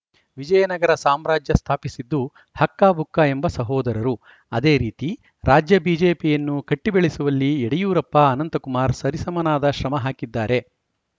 ವಿಜಯನಗರ ಸಾಮ್ರಾಜ್ಯ ಸ್ಥಾಪಿಸಿದ್ದು ಹಕ್ಕಬುಕ್ಕ ಎಂಬ ಸಹೋದರರು ಅದೇ ರೀತಿ ರಾಜ್ಯ ಬಿಜೆಪಿಯನ್ನು ಕಟ್ಟಿಬೆಳೆಸುವಲ್ಲಿ ಯಡಿಯೂರಪ್ಪಅನಂತಕುಮಾರ್‌ ಸರಿಸಮನಾದ ಶ್ರಮ ಹಾಕಿದ್ದಾರೆ